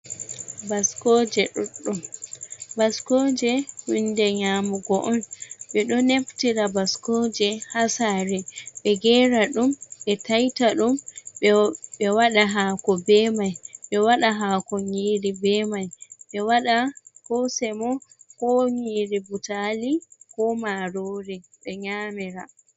baskooje, baskooje hu nde nyamugo on ɓe do naftira baskooje ha sare be gera ɗum be taita dum ɓe waɗa haako be mai ɓe waɗa haako nyiri be mai ɓe waɗa ko semo ko nyiri butalii ko marori be nyamira.